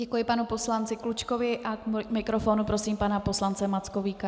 Děkuji panu poslanci Klučkovi a k mikrofonu prosím pana poslance Mackovíka.